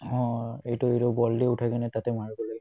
উম্, এইটো কিন্তু ball টো উঠাই কিনে তাতে মাৰিব লাগে